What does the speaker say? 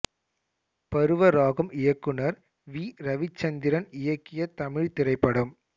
பருவ ராகம் இயக்குனர் வி ரவிச்சந்திரன் இயக்கிய தமிழ்த் திரைப்படம்